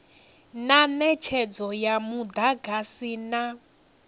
na netshedzo ya mudagasi na